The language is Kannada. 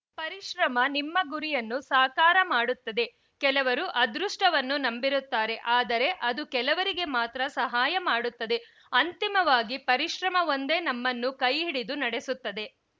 ಪರಿಶ್ರಮ ನಿಮ್ಮ ಗುರಿಯನ್ನು ಸಾಕಾರ ಮಾಡುತ್ತದೆ ಕೆಲವರು ಅದೃಷ್ಟವನ್ನು ನಂಬಿರುತ್ತಾರೆ ಆದರೆ ಅದು ಕೆಲವರಿಗೆ ಮಾತ್ರ ಸಹಾಯಮಾಡುತ್ತದೆ ಅಂತಿಮವಾಗಿ ಪರಿಶ್ರಮವೊಂದೇ ನಮ್ಮನ್ನು ಕೈಹಿಡಿದು ನಡೆಸುತ್ತದೆ